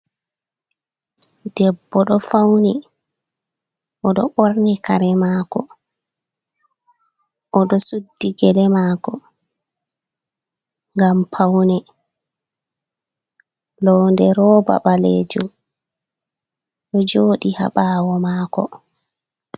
Debbo ɗo fauni, o ɗo borni kare mako. O ɗo suddi gele mako, ngam paune. Londe roba ɓaleejum ɗo joɗi ha ɓaawo mako.